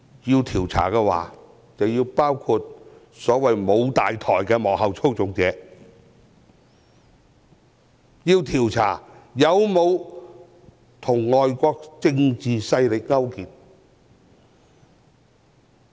要調查的話，便應包括所謂沒有大台的幕後操縱者，以及調查有沒有與外國政治勢力勾結。